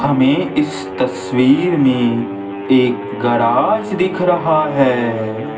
हमें इस तस्वीर में एक गराज दिख रहा है।